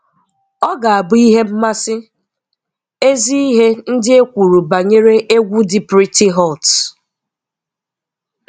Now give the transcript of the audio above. Ọ ga-abụ ihe mmasi. Ezi ihe ndi ekwuru banyere egwu dị pretty hurts